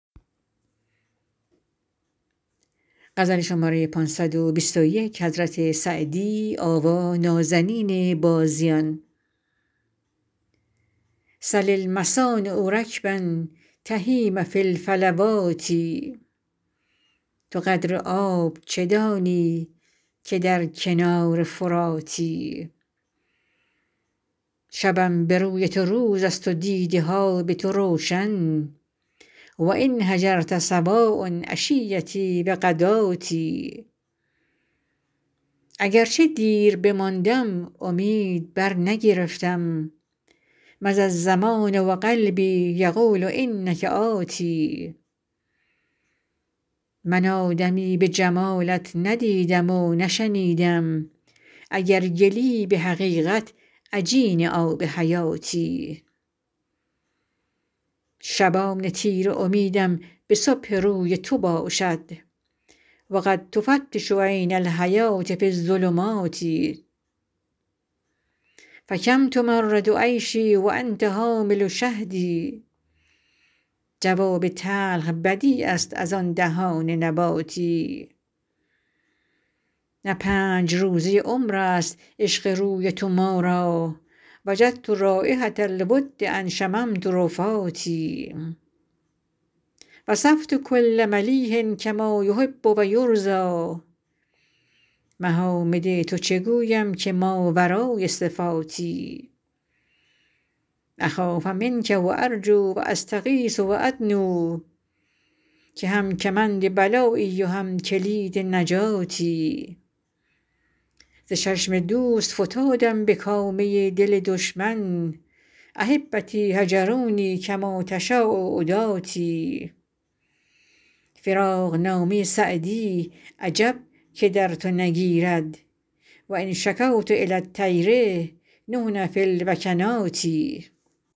سل المصانع رکبا تهیم فی الفلوات تو قدر آب چه دانی که در کنار فراتی شبم به روی تو روز است و دیده ها به تو روشن و إن هجرت سواء عشیتي و غداتي اگر چه دیر بماندم امید برنگرفتم مضی الزمان و قلبي یقول إنک آت من آدمی به جمالت نه دیدم و نه شنیدم اگر گلی به حقیقت عجین آب حیاتی شبان تیره امیدم به صبح روی تو باشد و قد تفتش عین الحیوة في الظلمات فکم تمرر عیشي و أنت حامل شهد جواب تلخ بدیع است از آن دهان نباتی نه پنج روزه عمر است عشق روی تو ما را وجدت رایحة الود إن شممت رفاتي وصفت کل ملیح کما یحب و یرضیٰ محامد تو چه گویم که ماورای صفاتی أخاف منک و أرجو و أستغیث و أدنو که هم کمند بلایی و هم کلید نجاتی ز چشم دوست فتادم به کامه دل دشمن أحبتي هجروني کما تشاء عداتي فراقنامه سعدی عجب که در تو نگیرد و إن شکوت إلی الطیر نحن في الوکنات